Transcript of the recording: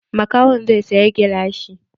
Makahon zai saya gilashi.